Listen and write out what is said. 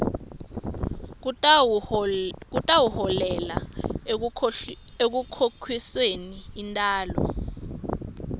kutawuholela ekukhokhisweni intalo